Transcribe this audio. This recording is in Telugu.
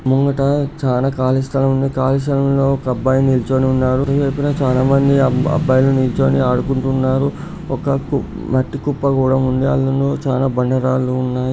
ముంగట చాలా ఖాళీ స్థలం ఉంది. ఖాళీ స్థలంలో ఒక అబ్బాయి నిల్చొని ఉన్నాడు. ఇంకా చాలా మంది అబ్బాయిలు నిల్చొని ఆడుకుంటున్నారు. ఒక కు-మట్టి కుప్ప కూడా ఉంది. అందులొ చాలా బండ రాళ్ళూ సన్నాయి--